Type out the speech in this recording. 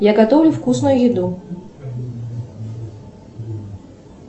я готовлю вкусную еду